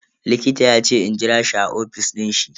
Likita yace in jira shi a ofis din shi.